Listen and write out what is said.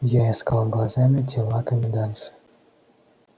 я искал глазами тела комендантши